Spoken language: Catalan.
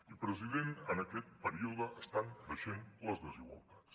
i president en aquest període estan creixent les desigualtats